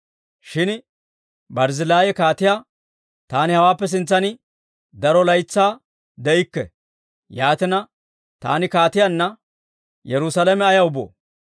Shin Barzzillaayi kaatiyaa, «Taani hawaappe sintsan daro laytsaa de'ikke; yaatina, taani kaatiyaanna Yerusaalame ayaw boo?